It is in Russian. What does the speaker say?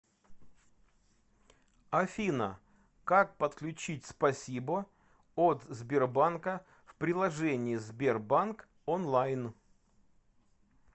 афина как подключить спасибо от сбербанка в приложении сбербанк онлайн